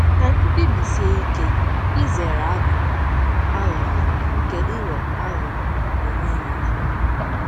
Ka anyị kpebisie ike izere aghụghọ aghụghọ nke ịghọ aghụghọ onwe onye.